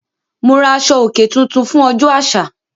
Mo ra aṣọ-òkè tuntun fún ọjọ́ àṣà.